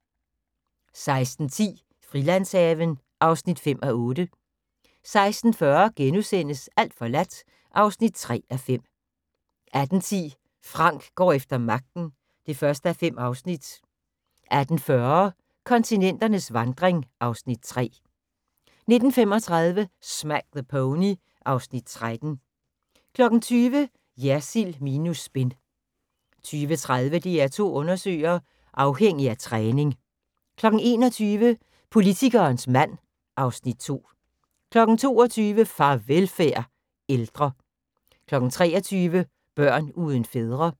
16:10: Frilandshaven (5:8) 16:40: Alt forladt (3:5)* 18:10: Frank går efter magten (1:5) 18:40: Kontinenternes vandring (Afs. 3) 19:35: Smack the Pony (Afs. 13) 20:00: Jersild minus spin 20:30: DR2 Undersøger: Afhængig af træning 21:00: Politikerens mand (Afs. 2) 22:00: Farvelfærd – Ældre 23:00: Børn uden fædre